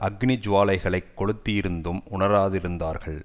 அக்கினி ஜுவாலைகளைக் கொளுத்தியிருந்தும் உணராதிருந்தார்கள்